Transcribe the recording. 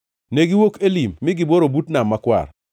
Negiwuok Elim mi gibworo but Nam Makwar.